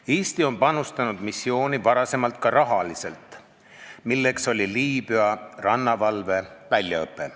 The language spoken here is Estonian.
Eesti on missiooni varem ka rahaliselt panustanud, täpsemalt Liibüa rannavalve väljaõppesse.